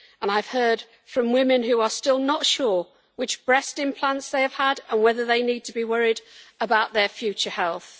I have heard from women who are still not sure which breast implants they have had and whether they need to be worried about their future health.